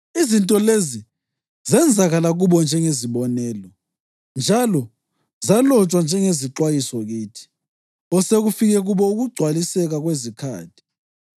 Izinto lezi zenzakala kubo njengezibonelo njalo zalotshwa njengezixwayiso kithi, osekufike kubo ukugcwaliseka kwezikhathi.